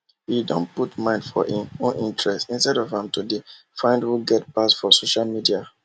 he don put mind for im own interest instead of am to de find who get pass for social media